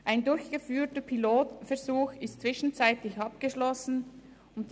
Ein durchgeführter Pilotversuch ist inzwischen abgeschlossen worden.